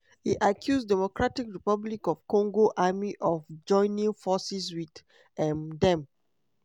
e accuse dr congo army of joining forces wit um dem